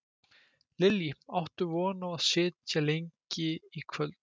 Lillý: Áttu von á að þið sitjið lengi í kvöld?